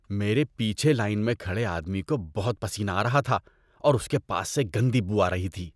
میرے پیچھے لائن میں کھڑے آدمی کو بہت پسینہ آ رہا تھا اور اس کے پاس سے گندی بو آ رہی تھی۔